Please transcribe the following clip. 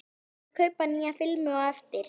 Ég skal kaupa nýja filmu á eftir.